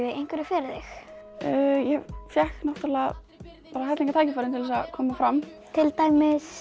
einhverju fyrir þig ég fékk helling af tækifærum til þess að koma fram til dæmis